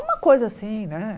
Uma coisa assim, né?